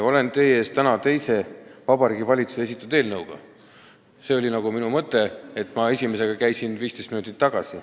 Olen teie ees täna teise Vabariigi Valitsuse esitatud eelnõuga – see oli minu mõte, sest esimesega ma käisin siin 15 minutit tagasi.